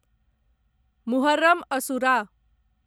Muharram asura